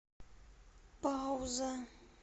пауза